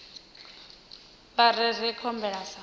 vha rere nga khumbelo ya